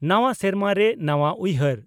ᱱᱟᱣᱟ ᱥᱮᱨᱢᱟ ᱨᱮ ᱱᱟᱣᱟ ᱩᱭᱦᱟᱨ